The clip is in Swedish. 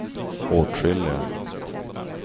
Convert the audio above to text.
åtskilliga